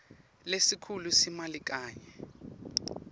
lesikhulu semali kanye